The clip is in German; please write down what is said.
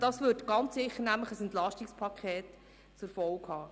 Dies hätte mit Sicherheit ein EP zur Folge.